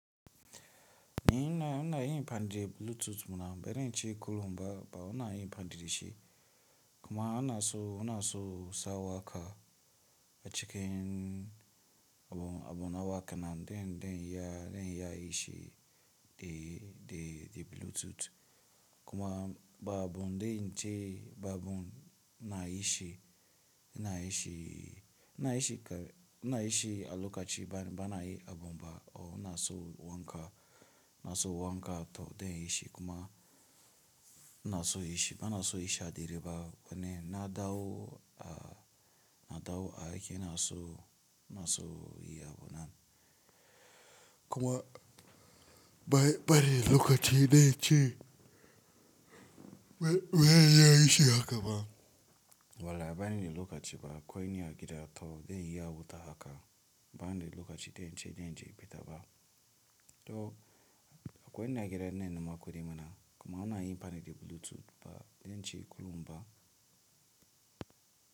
Ni ina inayin fandire Bluetooth ɗina ba zan ce ko in ba fandire kuma ana so, una so sa wa ka a cikin abun, abun na waka nan den, den ya, den ya ishe the, the, the bluetooth. Kuma ba abun den ce ba abun na ishe, ina ishe, ina ishe ka, ina ishe a lokaci ba, ba na yi abun ba. O una so wanka, na so wanka to den ishe kuma na so ishe, ba na so ishe a direba bane na dawo a, na dawo a yake na so, na so yi abun nan. Kuma bari, bari lokaci den ce, waye ya ishe haka ba. Wala bari ne lokaci ba, coin ya kira to den ya wuta haka. Bani de lokaci den ce, den ce ya bi ta ba. To ko ina gida ina neman kudi mana kuma una yin fandire da bluetooth ba den ce kullum ba.